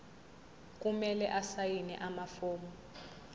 kumele asayine amafomu